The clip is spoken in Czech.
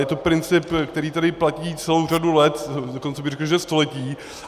Je to princip, který tady platí celou řadu let, dokonce bych řekl, že století.